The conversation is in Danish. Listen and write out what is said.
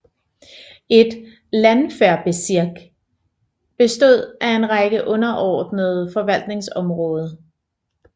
Et Landwehrbezirk bestod af en række underordnede forvaltningsområdet